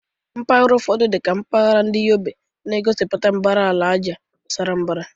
Mpaghara ụfọdụ, dị ka mpahara ndi Yobe, na-egosipụta mbara ala ájá sara mbara.